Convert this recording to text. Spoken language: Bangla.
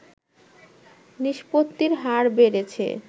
নিষ্পত্তির হার বেড়েছে